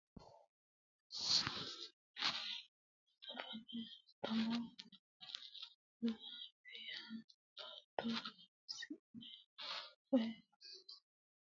Zaafana haanto zaafa yaa baato loosine woyi irshsha loosine henayiha ikana haanto kayiini hayisso mixate laloho mereta mudhate horonsinaniha ikase kulani.